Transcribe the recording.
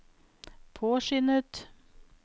påskyndet